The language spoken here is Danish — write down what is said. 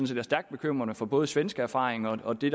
set er stærkt bekymrende for både svenske erfaringer og de